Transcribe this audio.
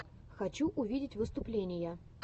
хочу увидеть выступления